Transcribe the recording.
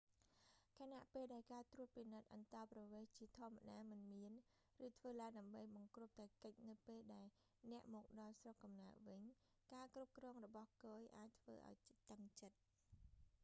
ខណៈពេលដែលការត្រួតពិនិត្យអន្តោប្រវេសន៍ជាធម្មតាមិនមាន ឬធ្វើឡើងដើម្បីបង្គ្រប់តែកិច្ចនៅពេលដែលអ្នកមកដល់ស្រុកកំណើតវិញ ការគ្រប់គ្រងរបស់គយអាចធ្វើឱ្យតឹងចិត្ត